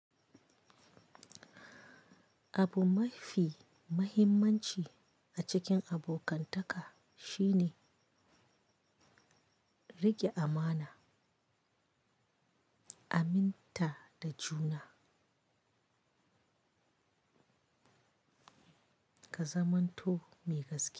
Abu mafi muhimmanci a cikin abokantaka shi ne riƙe amana, aminta da juna. Ka zamanto mai gaskiya.